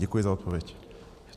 Děkuji za odpověď.